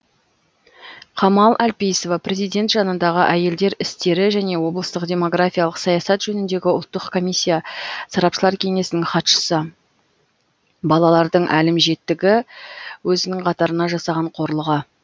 камал әлпейісова президент жанындағы әйелдер істері және областық демографиялық саясат жөніндегі ұлттық комиссия сарапшылар кеңесінің хатшысы балалардың әлімжеттігі өзінің қатарына жасаған қорлығы